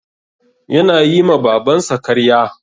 Yana yi ma Babansa karya.